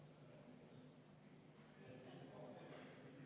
V a h e a e g